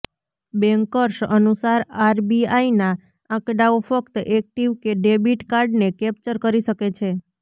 bankers અનુસાર આરબીઆઈના આંકડાઓ ફક્ત એક્ટિવ ડેબિટ કાર્ડને કેપ્ચર કરી શકે છે